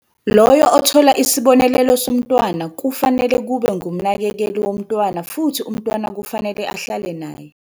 Loyo othola isibonelelo somntwana kufanele kube ngumnakekeli womntwana futhi umntwana kufanele ahlale naye.